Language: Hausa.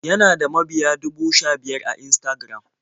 Yana da mabiya dubu sha-biyar a Instagram.